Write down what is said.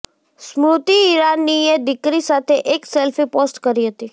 સ્મૃતિ ઈરાનીએ દીકરી સાથે એક સેલ્ફી પોસ્ટ કરી હતી